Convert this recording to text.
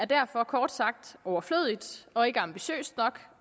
derfor kort sagt overflødigt og ikke ambitiøst nok